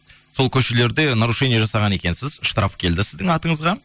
сол көшелерде нарушение жасаған екенсіз штраф келді сіздің атыңызға